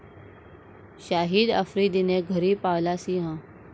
शाहिद आफ्रिदीने घरी पाळला सिंह?